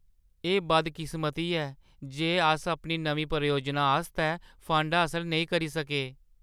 एह् बदकिस्मती ऐ जे अस अपनी नमीं परियोजना आस्तै फंड हासल नेईं करी सके।